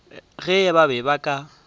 ge ba be ba ka